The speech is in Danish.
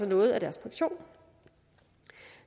noget af deres pension